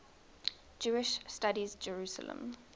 jewish studies jerusalem